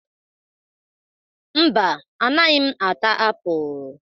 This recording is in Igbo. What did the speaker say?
Mba, anaghị m ata apụl.